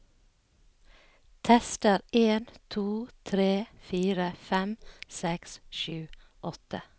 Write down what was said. Tester en to tre fire fem seks sju åtte